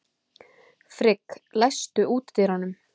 Frigg, læstu útidyrunum.